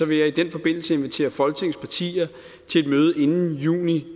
vil jeg i den forbindelse invitere folketingets partier til et møde inden juni